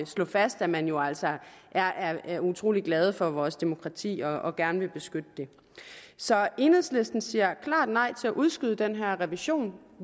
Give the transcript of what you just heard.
slå fast at man jo altså er er utrolig glad for vores demokrati og gerne vil beskytte det så enhedslisten siger klart nej til at udskyde den her revision